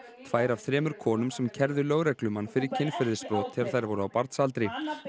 tvær af þremur konum sem kærðu lögreglumann fyrir kynferðisbrot þegar þær voru á barnsaldri